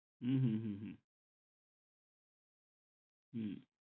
হম হম হম হম